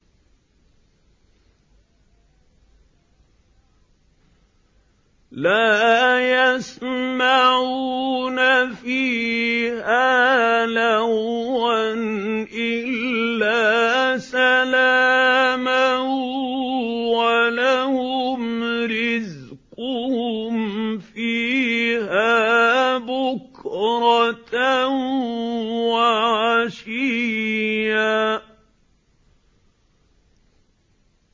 لَّا يَسْمَعُونَ فِيهَا لَغْوًا إِلَّا سَلَامًا ۖ وَلَهُمْ رِزْقُهُمْ فِيهَا بُكْرَةً وَعَشِيًّا